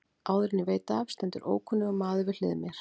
Áður en ég veit af stendur ókunnur maður við hlið mér.